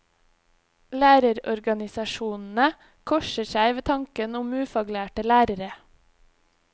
Lærerorganisasjonenes korser seg ved tanken om ufaglærte lærere.